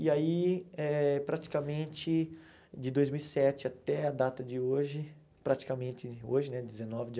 E aí, eh praticamente de dois mil e sete até a data de hoje, praticamente hoje né, dezenove de